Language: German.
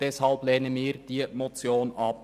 Deshalb lehnen wir diese Motion ab.